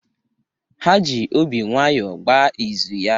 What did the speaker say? Ha ji obi nwayọọ gbaa izu ya.